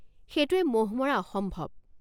সেইটোৱে মহ মৰা অসম্ভৱ।